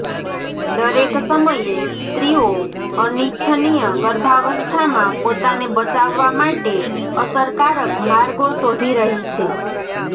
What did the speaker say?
દરેક સમયે સ્ત્રીઓ અનિચ્છનીય ગર્ભાવસ્થામાં પોતાને બચાવવા માટે અસરકારક માર્ગો શોધી રહી છે